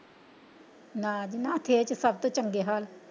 ਨਾ ਜੀ ਨਾ ਸ਼ਹਿਰ ਚ ਸਭ ਤੋਂ ਚੰਗੇ ਹਾਲ।